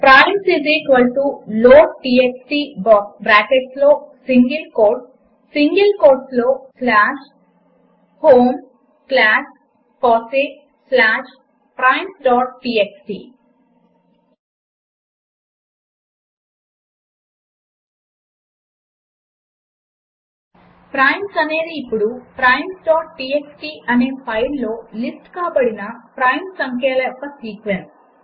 primes లోడ్టీఎక్స్టీ బ్రాకెట్స్లో single కోట్స్లో slash home slash FOSSEE slash primesటీఎక్స్టీ ప్రైమ్స్ అనేది ఇప్పుడు primestxt అనే ఫైలులో లిస్ట్ కాబడిన ప్రైమ్ సంఖ్యల యొక్క సీక్వెన్స్